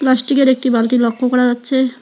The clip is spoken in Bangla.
প্লাস্টিকের একটি বালতি লক্ষ্য করা যাচ্ছে।